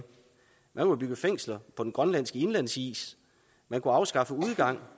man kunne bygge fængsler på den grønlandske indlandsis man kunne afskaffe udgang